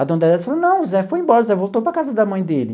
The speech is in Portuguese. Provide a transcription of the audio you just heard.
A dona Dedésia falou, não, o Zé foi embora, o Zé voltou para a casa da mãe dele.